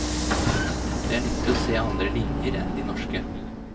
Det er nyttig å se andre linjer enn de norske.